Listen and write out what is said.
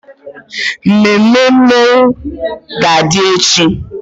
Mmemme mmọnwụ ga-adị echi.